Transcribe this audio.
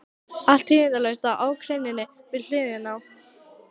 Allt tíðindalaust á akreininni við hliðina.